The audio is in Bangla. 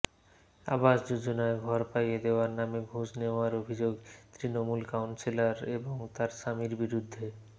আবাস যোজনার ঘর পাইয়ে দেওয়ার নামে ঘুষ নেওয়ার অভিযোগ তৃণমূল কাউন্সিলর এবং তার স্বামীর বিরুদ্ধে